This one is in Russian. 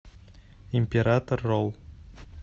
император ролл